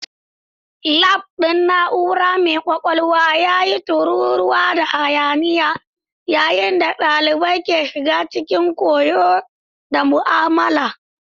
Lab ɗin na'ura mai kwakwalwa ya yi ta tururuwa da hayaniya yayin da ɗalibai ke shiga cikin koyo na mu'amala.